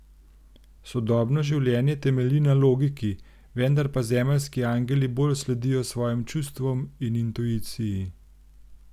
Sodobno življenje temelji na logiki, vendar pa zemeljski angeli bolj sledijo svojim čustvom in intuiciji.